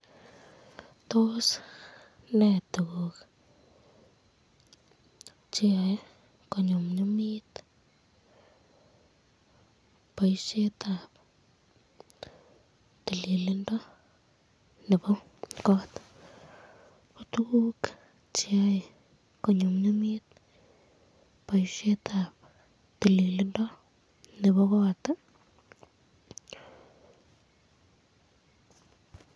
Tos nee tukuk cheyoe konyumnyumit boisyetab tililindo nebo kot, ko tukuk cheyae konyumnyumit boisyetab tililindo nebo kot ii